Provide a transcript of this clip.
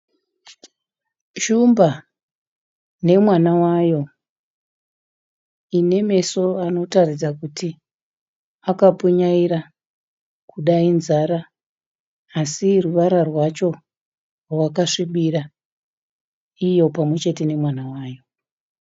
Shumba nemwana wayo inemeso anotaridza kuti akapfunyaira kuda inzara asi ruvara rwacho rwakasvibira iyo pamwechete nemwana wayo.